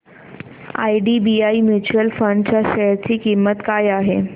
IDBI mutual fund च्या share ची किंमत काय आहे